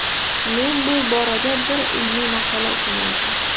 Men bu borada bir ilmiy maqola o‘qigandim.